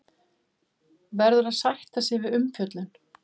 Verður að sætta sig við umfjöllun